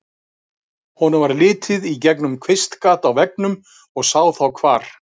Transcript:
Honum varð litið í gegnum kvistgat á veggnum og sá þá hvar